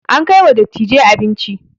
An kai wa dattijai abinci